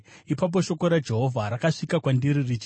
Ipapo shoko raJehovha rakasvika kwandiri richiti,